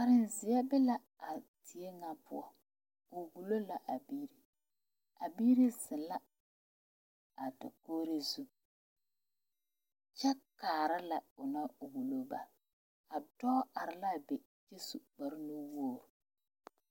Kareziɛ be a die ŋa poɔ ba wulo la a biiri a biiri zeŋ la a dakogri zu kyɛ kaara lɛ o naŋ wulo ba a dɔɔ are la a be kyɛ su kpare nu wogre.